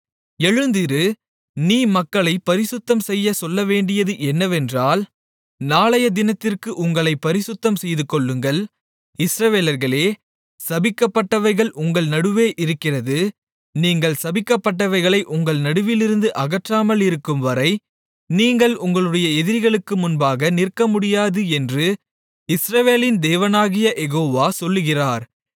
எழுந்திரு நீ மக்களைப் பரிசுத்தம்செய்யச் சொல்லவேண்டியது என்னவென்றால் நாளையதினத்திற்கு உங்களைப் பரிசுத்தம் செய்துகொள்ளுங்கள் இஸ்ரவேலர்களே சபிக்கப்பட்டவைகள் உங்கள் நடுவே இருக்கிறது நீங்கள் சபிக்கப்பட்டவைகளை உங்கள் நடுவிலிருந்து அகற்றாமலிருக்கும்வரை நீங்கள் உங்களுடைய எதிரிகளுக்கு முன்பாக நிற்கமுடியாது என்று இஸ்ரவேலின் தேவனாகிய யெகோவா சொல்லுகிறார்